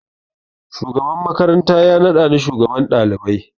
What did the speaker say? Shugaban makaranta ya naɗa ni shugaban ɗalibai